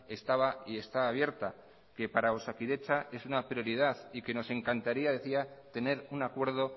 estaba y está abierta que para osakidetza es una prioridad y que nos encantaría decía tener un acuerdo